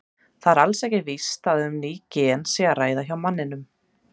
Það er alls ekki víst að um ný gen sé að ræða hjá manninum.